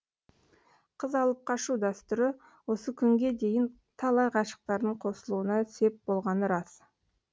қыз алып қашу дәстүрі осы күнге дейін талай ғашықтардың қосылуына сеп болғаны рас